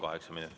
Kaheksa minutit.